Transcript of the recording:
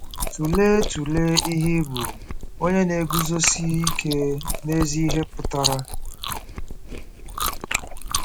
Tụlee Tụlee ihe ịbụ onye na-eguzosi ike n'ezi ihe pụtara.